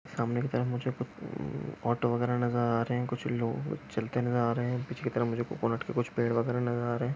सामने की तरफ मुझे कूछ ऑटो वगेरा नजर आ रहे है कूछ लोग चालते हुए नजर आरहे उसि तरफ कूछ कोकोनट के फेड नजर आ रहे है।